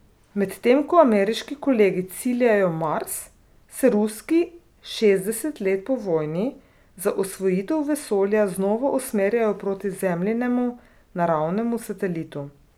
Medtem ko ameriški kolegi ciljajo Mars, se ruski šestdeset let po vojni za osvojitev vesolja znova usmerjajo proti Zemljinemu naravnemu satelitu.